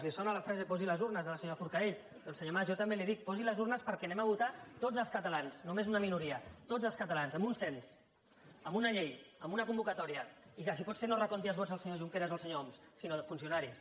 li sona la frase posi les urnes de la senyora forcadell doncs senyor mas jo també li dic posi les urnes perquè anem a votar tots els catalans no només una minoria tots els catalans amb un cens amb una llei amb una convocatòria i que si pot ser no recomptin els vots els senyor junqueras o el senyor homs sinó funcionaris